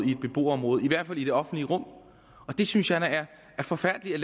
beboerområde i hvert fald i det offentlige rum og det synes jeg da er forfærdeligt